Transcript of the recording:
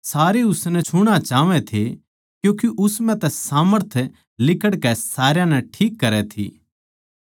सारे उसनै छूणा चाहवै थे क्यूँके उस म्ह तै सामर्थ लिकड़कै सारया नै ठीक करै थी